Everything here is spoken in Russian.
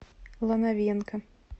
лановенко